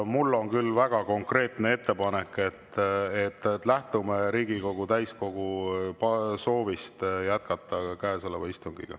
Mul on väga konkreetne ettepanek, et lähtume Riigikogu täiskogu soovist jätkata käesolevat istungit.